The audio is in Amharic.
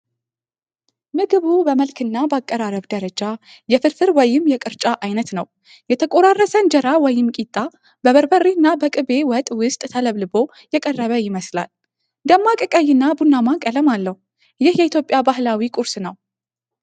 ምግቡ በመልክና በአቀራረብ ደረጃ የፍርፍር ወይም የቅርጫ ዓይነት ነው። የተቆራረሰ እንጀራ ወይም ቂጣ በበርበሬና በቅቤ ወጥ ውስጥ ተለብልቦ የቀረበ ይመስላል። ደማቅ ቀይና ቡናማ ቀለም አለው። ይህ የኢትዮጵያ ባህላዊ ቁርስ ነው።